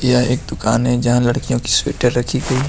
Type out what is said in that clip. यह एक दुकान है जहां लड़कियों की स्वेटर रखी गई है।